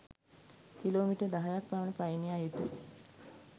kilometre දහයක්‌ පමණ පයින් යා යුතුයි